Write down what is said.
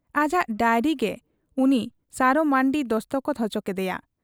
ᱟᱡᱟᱜ ᱰᱟᱭᱨᱤᱨᱮ ᱜᱮ ᱩᱱᱤ ᱥᱟᱨᱚ ᱢᱟᱺᱨᱰᱤ ᱫᱚᱥᱠᱚᱛ ᱚᱪᱚ ᱠᱮᱫᱮᱭᱟ ᱾